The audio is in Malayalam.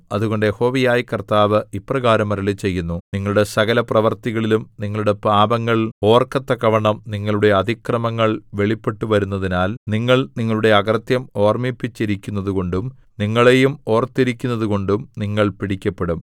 അതുകൊണ്ട് യഹോവയായ കർത്താവ് ഇപ്രകാരം അരുളിച്ചെയ്യുന്നു നിങ്ങളുടെ സകലപ്രവൃത്തികളിലും നിങ്ങളുടെ പാപങ്ങൾ ഓർക്കത്തക്കവണ്ണം നിങ്ങളുടെ അതിക്രമങ്ങൾ വെളിപ്പെട്ടുവരുന്നതിനാൽ നിങ്ങൾ നിങ്ങളുടെ അകൃത്യം ഓർമ്മിപ്പിച്ചിരിക്കുന്നതുകൊണ്ടും നിങ്ങളെയും ഓർത്തിരിക്കുന്നതുകൊണ്ടും നിങ്ങൾ പിടിക്കപ്പെടും